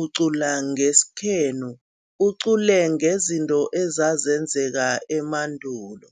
ucula ngesikhenu, ucule ngezinto ezenzeka emandulo.